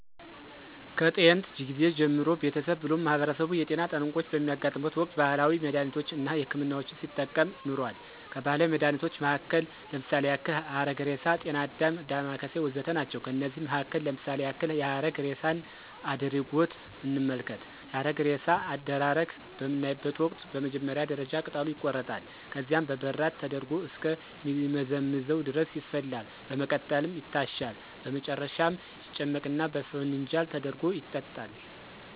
ከጥየንት ጊዜ ጀምሮ ቤተሰብ ብሎም ማህበረሰቡ የጤና ጠንቆች በሚያጋጥሙበት ወቅት ባህላዊ መድሃኒቶች አና ሕክምናዎችን ሲጠቀም ኖሯል። ከባህላዊ መድሃኒቶች መሀከል ለምሳሌ ያክል ሀረግሬሳ፣ ጤናአዳም፣ ዳማከሴ ወዘተ ናቸው። ከነዚህም መሀከል ለምሳሌ ያክል የሀረግሬሳን አድሪጎት እንመልከት፦ የሀረግሬሳ አደራረግ በምናይበተ ወቅት በመጀመሪያ ደረጃ ቅጠሉ ይቆረጣል፣ ከዚያም በበራድ ተደርጎ እስከ ሚመዘምዘው ድረስ ይፈላል፣ በመቀጠልም ይታሻል፣ በመጨረሻም ይጨመቅና በፋንጃል ተደርጎ ይጠጣል።